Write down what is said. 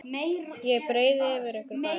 Ég breiði yfir okkur bæði.